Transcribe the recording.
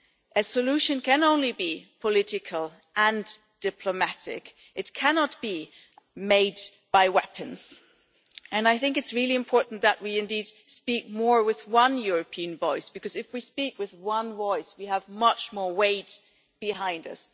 A solution can only be political and diplomatic. It cannot be made by weapons and I think it's really important that we indeed speak more with one European voice, because if we speak with one voice, we have much more weight behind us.